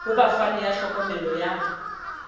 ho bafani ba tlhokomelo ya